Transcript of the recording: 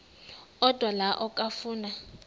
odwa la okafuna